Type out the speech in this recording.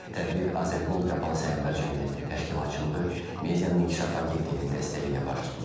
Tədbir Azərgold Qapalı Səhmdar Cəmiyyətinin təşkilatçılığı, Medianın İnkişafı Agentliyinin dəstəyi ilə baş tutub.